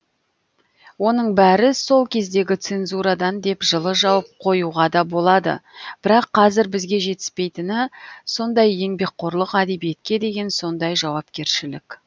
оның бәрі сол кездегі цензурадан деп жылы жауып қоюға да болады бірақ қазір бізге жетіспейтіні сондай еңбекқорлық әдебиетке деген сондай жауапкершілік